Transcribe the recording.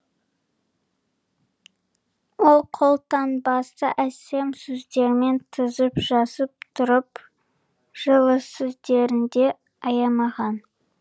ол қолтаңбасын әсем сөздермен тізіп жазып тұрып жылы сөздерін де аямаған